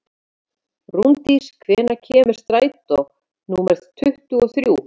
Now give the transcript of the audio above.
Rúndís, hvenær kemur strætó númer tuttugu og þrjú?